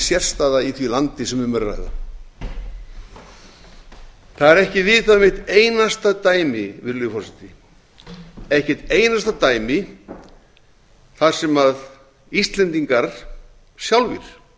sérstaða í því landi sem um er að ræða það er ekki vitað um eitt einasta dæmi virðulegi forseti ekki eitt einasta dæmi þar sem íslendingar sjálfir